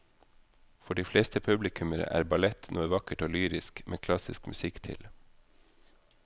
For de fleste publikummere er ballett noe vakkert og lyrisk med klassisk musikk til.